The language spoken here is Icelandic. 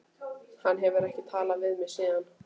Hann hefur ekki talað við mig síðan.